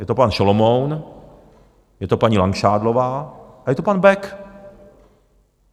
Je to pan Šalomoun, je to paní Langšádlová a je to pan Bek.